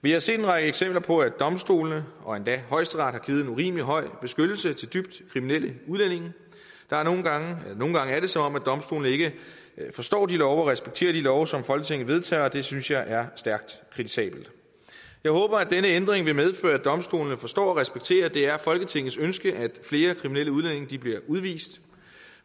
vi har set en række eksempler på at domstolene og endda højesteret har givet en urimelig høj beskyttelse til dybt kriminelle udlændinge nogle gange er det som om domstolene ikke forstår de love og respekterer de love som folketinget vedtager og det synes jeg er stærkt kritisabelt jeg håber at denne ændring vil medføre at domstolene forstår og respekterer at det er folketingets ønske at flere kriminelle udlændinge bliver udvist